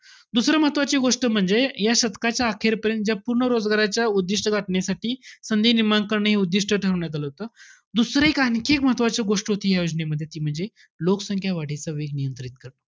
दुसरं महत्वाची गोष्ट म्हणजे या शतकाच्या अखेरपर्यंत ज्या पूर्ण रोजगाराच्या उद्दिष्ट गाठण्यासाठी संधी निर्माण करणे, हे उद्दिष्ट ठरवण्यात आलं होतं. दुसरं एक, आणखी एक महत्वाची गोष्ट होती, या योजनेमध्ये, ती म्हणजे, लोकसंख्या वाढीचा वेग नियंत्रित करणं.